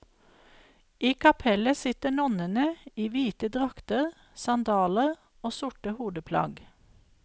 I kapellet sitter nonnene i hvite drakter, sandaler og sorte hodeplagg.